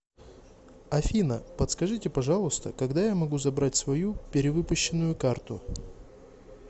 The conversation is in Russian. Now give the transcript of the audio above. афина подскажите пожалуйста когда я могу забрать свою перевыпущенную карту